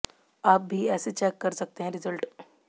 आप भी ऐसे चेक कर सकते हैं रिजल्ट